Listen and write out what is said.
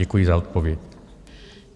Děkuji za odpověď.